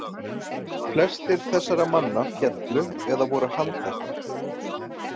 Flestir þessara manna féllu eða voru handteknir.